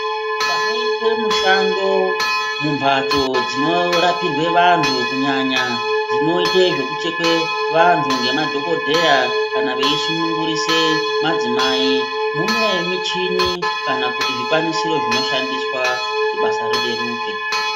Panoitwe mushando mumbatso dzinorapirwe vantu kunyanya dzinoite zvekuchekwe vantu ngemadhokodheya kana veisunungurise madzimai mune michini kana kuti zvikwanisoro zvinoshandiswa kuti basa rireruke.